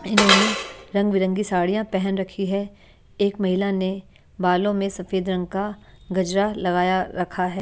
इन्होंने रंगबिरंगी साड़ियां पहन रखी है एक महिला ने बालों में सफेद रंग का गजरा लगाया रखा है।